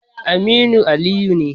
Aminu Aliyu ne.